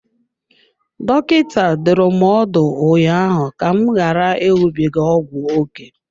Dọkịta dụrụ m ọdụ ụnyaahụ ka m ghara ịṅụbiga ọgwụ ókè.